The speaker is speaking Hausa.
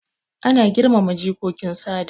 Ana girmama jikokin sada